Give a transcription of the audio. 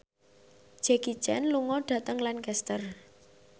Jackie Chan lunga dhateng Lancaster